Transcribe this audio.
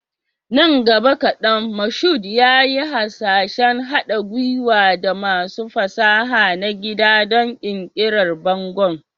Nan gaba kadan, Mashood yayi hasashen haɗa gwiwa da masu fasaha na gida don ƙirƙirar bangon.